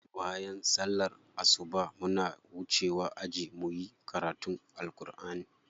Bayan sallar asuba muna wucewa aji muyi karatun Alkur'ani.